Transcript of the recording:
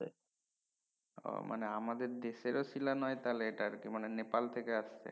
ও মানে আমাদের দেশেরও শীলা নয় তাইলে এটা আর কি মানে নেপাল থেকে আচ্ছে